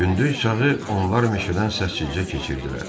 Gündüz çağı onlar meşədən səssizcə keçirdilər.